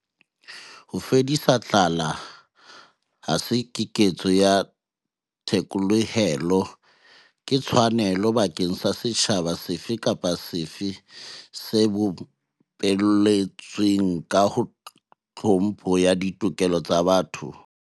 Ho fedisa tlala ha se ketso ya thekolohelo. Ke tshwanelo bakeng sa setjhaba sefe kapa sefe se bopelletsweng ka tlhompho ya ditokelo tsa botho.